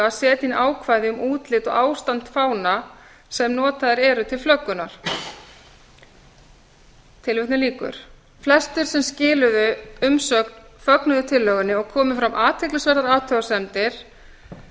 að setja inn ákvæði um útlit og ástand fána sem notaðir eru til flöggunar flestir sem skiluðu umsögn fögnuðu tillögunni og komu fram athyglisverðar athugasemdir eins